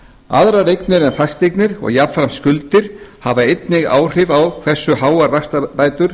aðrar eignir en fasteignir og jafnframt skuldir hafa einnig áhrif á það hversu háar vaxtabætur